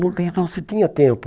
Não tem como se tinha tempo.